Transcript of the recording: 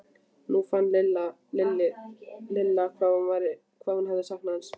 Nú fann Lilla hvað mikið hún hafði saknað hans.